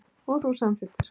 Og þú samþykktir.